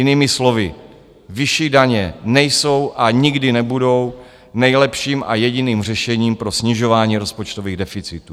Jinými slovy, vyšší daně nejsou a nikdy nebudou nejlepším a jediným řešením pro snižování rozpočtových deficitů.